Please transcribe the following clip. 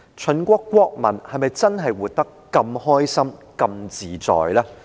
秦國國民又是否真的活得那麼開心和自在呢？